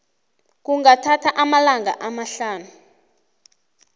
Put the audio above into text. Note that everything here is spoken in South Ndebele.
kungathatha amalanga amahlanu